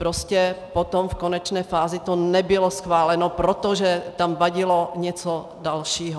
Prostě potom v konečné fázi to nebylo schváleno, protože tam vadilo něco dalšího.